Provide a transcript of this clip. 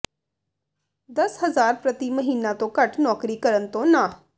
ਦਸ ਹਜ਼ਾਰ ਪ੍ਰਤੀ ਮਹੀਨਾਂ ਤੋਂ ਘੱਟ ਨੌਕਰੀ ਕਰਨ ਤੋਂ ਨਾਂਹ